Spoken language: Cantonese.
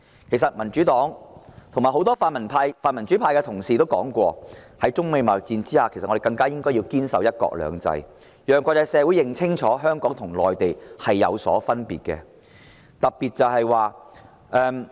其實，民主黨及很多泛民主派同事也說過，在中美貿易戰下，我們更應堅守"一國兩制"，讓國際社會認清香港與內地是有分別的。